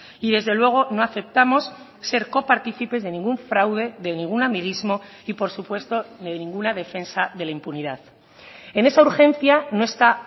y desde luego no aceptamos ser coparticipes de ningún fraude de ningún amiguismo y por supuesto de ninguna defensa de la impunidad en esa urgencia no está